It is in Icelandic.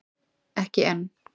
Ekki enn